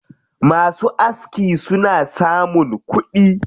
Masu aski suna samun kuɗi.